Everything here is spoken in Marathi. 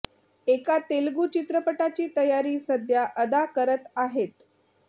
एका तेलुगू चित्रपटाची तयारी सध्या अदा करत आहेत